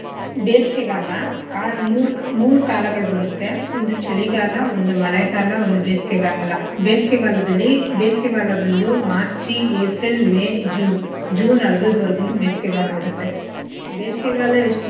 ಬೇಸಿಗೆಗಾಲ ಆ ಮೂರ್ ಕ~ ಮೂರ್ ಕಾಲಗಳ್ ಬರತ್ತೆ ಒಂದು ಚಳಿಗಾಲ ಒಂದು ಮಳೆಗಾಲ ಒಂದು ಬೇಸಿಗೆಗಾಲ. ಬೇಸಿಗೆಗಾಲದಲ್ಲಿ ಬೇಸ್ಗೆಗಾಲ ಬಂದು March, April, May, June, June ಅರ್ಧದ್ವರ್ಗೂನು ಬೇಸಿಗೆಗಾಲ ಇರತ್ತೆ ಬೇಸಿಗೆಗಾಲ ಎಷ್ಟು.